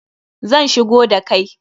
Zan shigo da kai